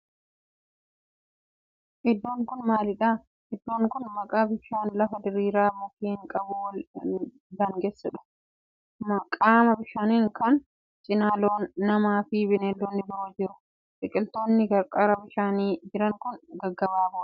Iddoon kun maalidha? Iddoon kun qaama bishaani lafa diriiraa mukkeen qabun wal daangeessudha. Qaama bishaanii kana cinaa loon, nama fi beelladoonni biroo jiru. Biqiltoonni qarqara bishaanii jiran kun gaggabaaboo dha.